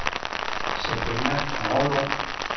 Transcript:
Sabrina Kragelund